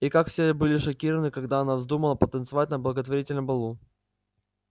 и как все были шокированы когда она вздумала потанцевать на благотворительном балу